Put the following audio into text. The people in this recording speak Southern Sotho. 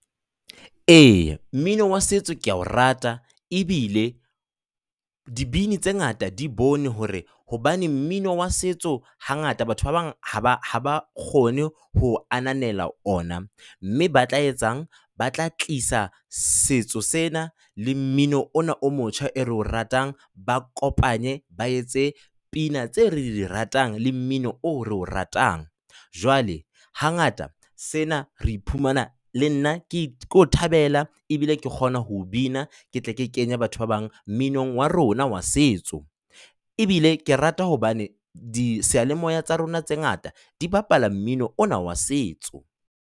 Ee, mmino wa setso ke a o rata ebile dibini tse ngata di bone hore hobane mmino wa setso hangata batho ba bang ha ba ha ba kgone ho ananela ona, mme ba tla etsang, ba tla tlisa setso sena le mmino ona o motjha oo re o ratang, ba kopanye, ba etse pina tseo re di ratang le mmino o re o ratang. Jwale hangata sena re iphumana le nna ke o thabela ebile ke kgona ho o bina, ke tle ke kenye batho ba bang mminong wa rona wa setso, ebile ke rata hobane diseyalemoya tsa rona tse ngata di bapala mmino ona wa setso.